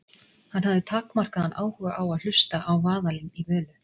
Hann hafði takmarkaðan áhuga á að hlusta á vaðalinn í Völu.